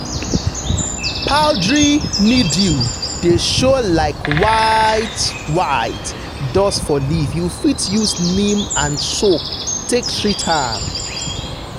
powdery mildew dey show like white-white dust for leaf you fit use neem and soap take treat am.